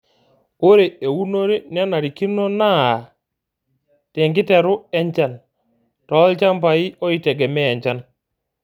Ore eunore nenarikino naa tenkiteru enchan toolchambai oitegemea enchan.